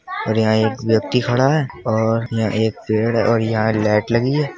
और यहाँ एक व्यक्ति खड़ा है और यहाँ एक पेड़ है और यहाँ लाइट लगी है।